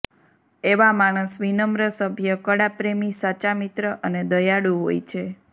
એવા માણસ વિનમ્ર સભ્ય કળાપ્રેમી સાચા મિત્ર અને દયાળુ હોય છે